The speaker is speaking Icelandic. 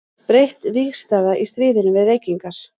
Breytt vígstaða í stríðinu við reykingar.